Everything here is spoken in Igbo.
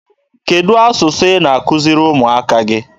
Kedụ asụsụ ị na-akuziri ụmụaka gị?